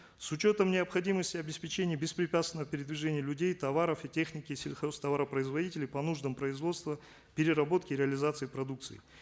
с учетом необходимости обеспечения беспрепятственного передвижения людей товаров и техники сельхозтоваропроизводителей по нуждам производства переработки и реализации продукции